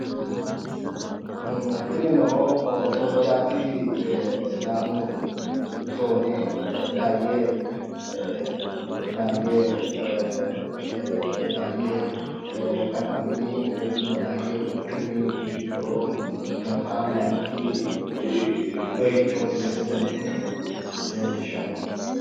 Tinnino soojjaati sidaamu zoone daaye kattami woyi daaye quchumi gido nootta layinki doyicho rosu mine leelishano.